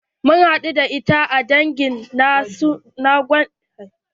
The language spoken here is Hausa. Mun hadu da ita a dagin gwaji na sunadarai.